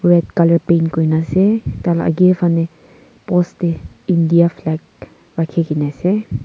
Red colour paint kurena ase tai la age fane post te India flag rakhi kena ase.